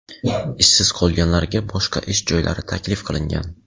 ishsiz qolganlarga boshqa ish joylari taklif qilingan.